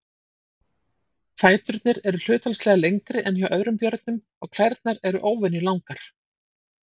Fæturnir eru hlutfallslega lengri en hjá öðrum björnum og klærnar eru óvenju langar.